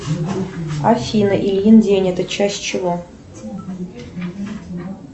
афина ильин день это часть чего